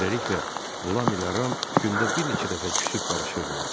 Beləliklə, Lam ilə Ram gündə bir neçə dəfə küsüb barışırdılar.